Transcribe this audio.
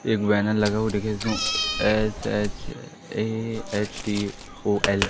एक बैनर लगा हुआ है एच_एच_ए_एच_टी_ओ_अल ।